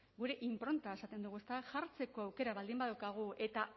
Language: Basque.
gure inpronta esaten dugu ezta jartzeko aukera baldin badaukagu eta